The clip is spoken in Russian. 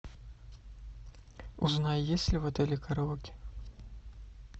узнай есть ли в отеле караоке